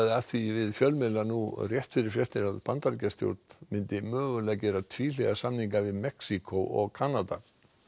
að því við fjölmiðla nú rétt fyrir fréttir að Bandaríkjastjórn myndi mögulega gera tvíhliða samninga við Mexíkó og Kanada